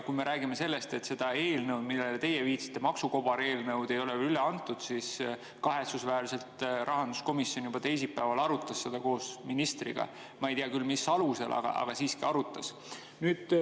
Kui me räägime sellest, et seda eelnõu, millele teie viitasite, maksukobareelnõu, ei ole veel üle antud, siis kahetsusväärselt rahanduskomisjon juba teisipäeval arutas seda koos ministriga – ma ei tea küll, mis alusel, aga siiski arutas.